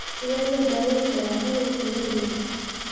Sidee loo daweyn karaa cudurka Madelung?